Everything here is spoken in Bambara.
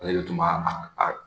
Ale de tun b'a a a